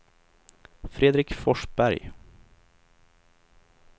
Fredrik Forsberg